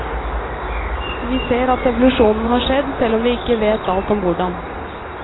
Vi ser at evolusjonen har skjedd, selv om vi ikke vet alt om hvordan.